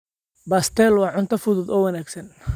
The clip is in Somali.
Pastel waa cunto fudud oo wanaagsan.